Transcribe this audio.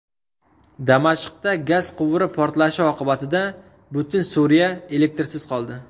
Damashqda gaz quvuri portlashi oqibatida butun Suriya elektrsiz qoldi.